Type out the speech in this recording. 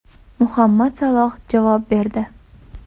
Muhammad Saloh javob berdi.